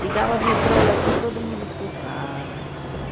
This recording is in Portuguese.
Ligava a vitrola, assim, todo mundo escutava.